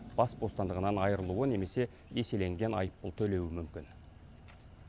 бас бостандығынан айырылуы немесе еселенген айыппұл төлеуі мүмкін